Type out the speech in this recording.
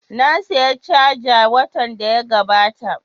Na saya caja watan da ya gabata